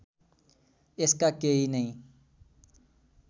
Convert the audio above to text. यसका केही नै